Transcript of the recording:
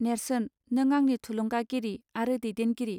नेर्सोन नों आंनि थुलुंगा गिरि आरो दैदेनगिरि